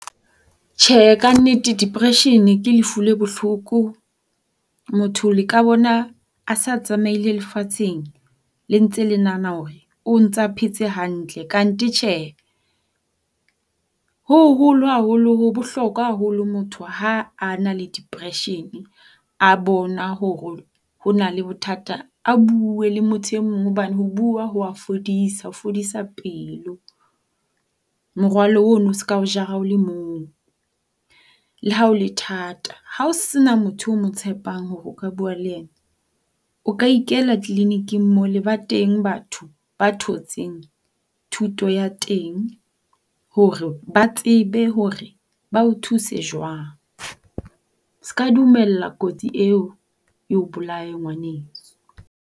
Tjhe kannete depression ke lefu le bohloko. Motho le ka bona a se a tsamaile lefatsheng le ntse le nahana hore o ntsa phetse hantle kanthe tjhe. Ho hoholo haholo ho bohlokwa haholo motho ha a na le depression a bona hore ho na le bothata a bue le motho e mong hobane ho bua ho a fodisa, ho fodisa pelo. Morwalo ono o se ka o jara o le mong, le ha o le thata. Ha ho sena motho eo o mo tshepang hore o ka bua le yena, o ikela tleleniking mole ba teng batho ba thotseng thuto ya teng hore ba tsebe hore ba o thuse jwang. Se ka dumella kotsi eo e o bolae ngwaneso.